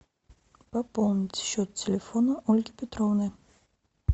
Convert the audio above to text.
пополнить счет телефона ольги петровны